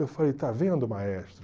Eu falei, está vendo, maestro?